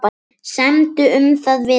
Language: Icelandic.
Semdu um það við hann.